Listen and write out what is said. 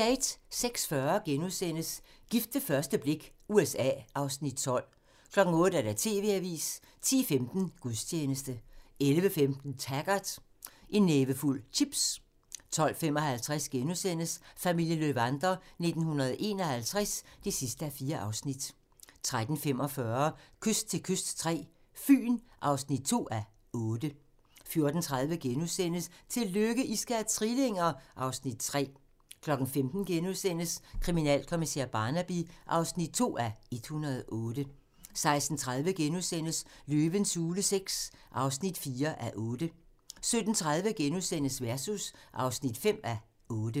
06:40: Gift ved første blik – USA (Afs. 12)* 08:00: TV-avisen 10:15: Gudstjeneste 11:15: Taggart: En nævefuld chips 12:55: Familien Löwander 1951 (4:4)* 13:45: Kyst til kyst III - Fyn (2:8) 14:30: Tillykke, I skal have trillinger! (Afs. 3)* 15:00: Kriminalkommissær Barnaby (2:108)* 16:30: Løvens hule VI (4:8)* 17:30: Versus (5:8)*